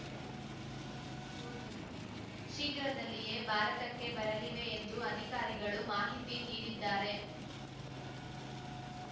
ಶೀಘ್ರದಲ್ಲಿಯೇ ಭಾರತಕ್ಕೆ ಬರಲಿವೆ ಎಂದು ಅಧಿಕಾರಿಗಳು ಮಾಹಿತಿ ನೀಡಿದ್ದಾರೆ